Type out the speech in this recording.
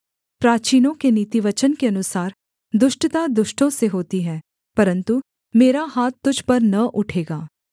प्राचीनों के नीतिवचन के अनुसार दुष्टता दुष्टों से होती है परन्तु मेरा हाथ तुझ पर न उठेगा